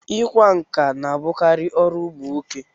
Ị kwa nkà na-abụkarị ọrụ ụmụ nwoke.